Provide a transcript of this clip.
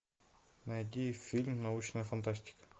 найди фильм научная фантастика